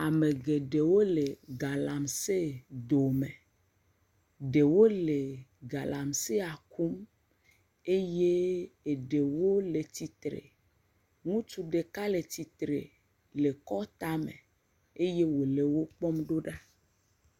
Ame geɖewo le galamsee dome. Ɖewo le galamsea kum eye eɖewo le tsitre. Ŋutsu ɖeka le tsitre le kɔɔ tame. Eye wòle wokpɔmɖo ɖa.